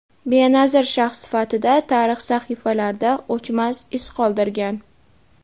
benazir shaxs sifatida tarix sahifalarida o‘chmas iz qoldirgan.